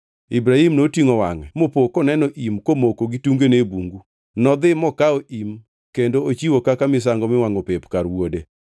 Ibrahim notingʼo wangʼe mopo koneno im komoko gitungene e bungu. Nodhi mokawo im kendo ochiwo kaka misango miwangʼo pep kar wuode.